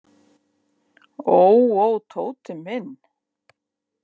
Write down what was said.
Ó, ó, Tóti minn.